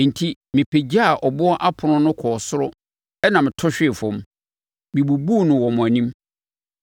Enti, mepagyaa boɔ apono no kɔɔ soro ɛnna meto hwee fam. Mebubuu no wɔ mo anim.